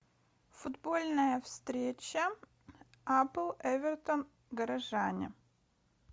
футбольная встреча апл эвертон горожане